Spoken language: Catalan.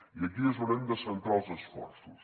i aquí és on hem de centrar els esforços